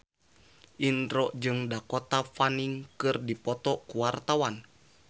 Indro jeung Dakota Fanning keur dipoto ku wartawan